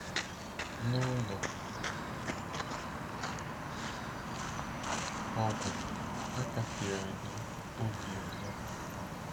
N'ụlọ ọgwụ, a kasiri anyị obi ọzọ.